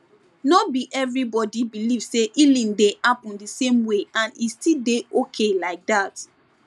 no be everybody believe say healing dey happen the same way and e still dey okay like that